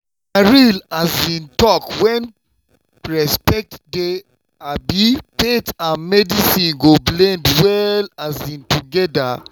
na real talk when respect dey um faith and medicine go blend well um together.